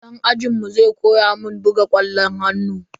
Dan ajinmu zai koya mun buga kwallon hannu.